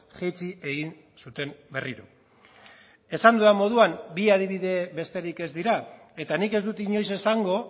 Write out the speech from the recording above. jaitsi egin zuten berriro esan dudan moduan bi adibide besterik ez dira eta nik ez dut inoiz esango